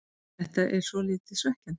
Þetta er svolítið svekkjandi.